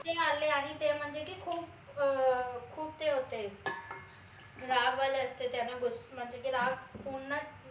ते म्हनजे की खूप अं खूप ते होते राग आले असते त्यांना म्हनजे ते राग पुन्हा